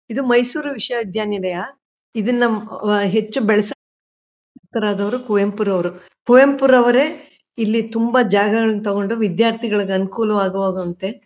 ಇದು ಮೈಸೂರು ವಿಶ್ವವಿದ್ಯಾನಿಲಯ ಇದನ್ನ ಹ್ಮ್ ಆ ಹೆಚ್ಚು ಬೆಳೆಸ ತರದವರು ಕುವೆಂಪುರವರು ಕುವೆಂಪುರವರೇ ಇಲ್ಲಿ ತುಂಬಾ ಜಾಗಗಳನ್ನು ತಗೊಂಡು ವಿದ್ಯಾರ್ಥಿಗಳಿಗೆ ಅನುಕೂಲವಾಗುವಂತೆ.